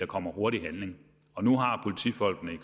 kommer hurtig handling og nu har politifolkene i